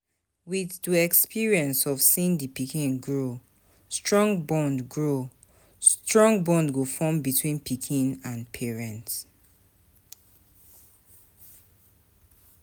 With do experience of seeing di pikin grow, strong bond grow, strong bond go form between pikin and parents